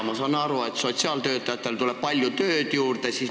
Ma saan aru, et sotsiaaltöötajatele tuleb palju tööd juurde.